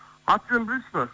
аты жөнін білесіз бе